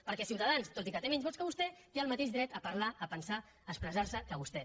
perquè ciutadans tot i que té menys vots que vostè té el mateix dret a parlar a pensar a expressar se que vostè